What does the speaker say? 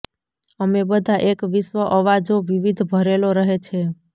અમે બધા એક વિશ્વ અવાજો વિવિધ ભરેલો રહે છે